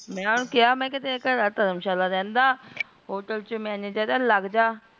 ਮੈਂ ਓਹਨੂ ਕਿਆ ਘਰਆਲਾ ਧਰਮਸ਼ਾਲਾ ਰਹੰਦਾ ਹੋਟਲ ਚ ਮੈਨੇਜਰ ਆ ਲਗ੍ਜਾ